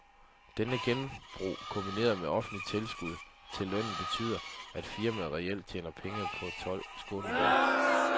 Dette genbrug kombineret med det offentlige tilskud til lønnen betyder, at firmaet reelt tjener penge på sine tolv skånejob.